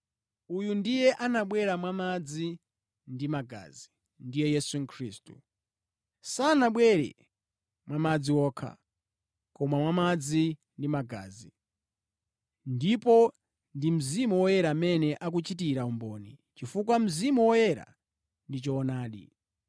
Uyu ndiye anabwera mwa madzi ndi magazi, ndiye Yesu Khristu. Sanabwere mwa madzi okha, koma mwa madzi ndi magazi. Ndipo ndi Mzimu Woyera amene akuchitira umboni, chifukwa Mzimu Woyera ndi choonadi.